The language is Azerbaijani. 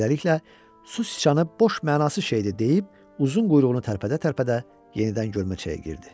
Beləliklə, Su Siçanı “boş mənasız şeydir” deyib, uzun quyruğunu tərpədə-tərpədə yenidən görməçəyə girdi.